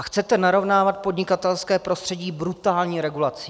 A chcete narovnávat podnikatelské prostředí brutální regulací.